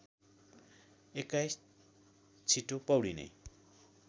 २१ छिटो पौडिने